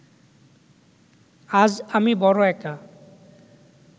আজ আমি বড় একা